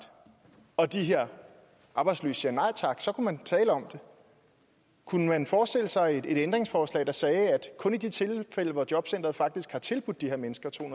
og de her arbejdsløse siger nej tak så kunne man tale om det kunne man forestille sig et ændringsforslag der sagde at kun i de tilfælde hvor jobcenteret faktisk har tilbudt de her mennesker to